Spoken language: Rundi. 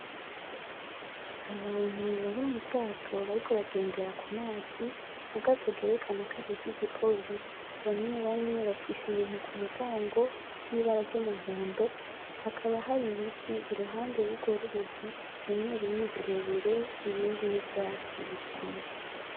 Abantu bari mu bwato bariko bagendera ku mazi. Ubwato bwerekana kwari ubw’igipolisi. Bamwe bafise ibintu ku mugongo vy’ibara ry’umuhondo, hakaba hari ibiti iruhande y’urwo ruzi bimwe bimwe birebire ibindi n’ivyatsi bisanzwe.